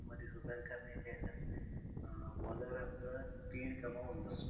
करण्याच्या ह्याच्यात अं bowler आपलं speed गमावून बसतो.